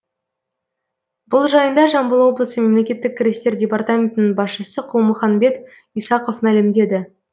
бұл жайында жамбыл облысы мемлекеттік кірістер департаментінің басшысы құлмуханбет исақов мәлімдеді